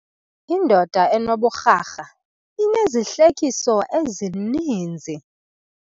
Indoda enoburharha inezihlekiso ezininzi.